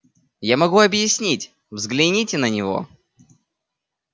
я могу объяснить взгляните на него